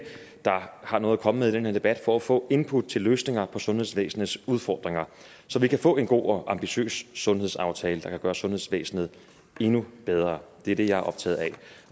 der har noget at komme med i den her debat for at få input til løsninger på sundhedsvæsenets udfordringer så vi kan få en god og ambitiøs sundhedsaftale der kan gøre sundhedsvæsenet endnu bedre det er det jeg er optaget af